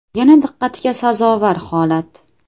Yana diqqatga sazovor holat.